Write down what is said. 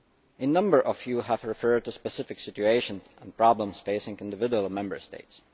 A number of you have referred to specific situations and problems facing individual Member States.